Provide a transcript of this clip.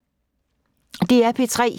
DR P3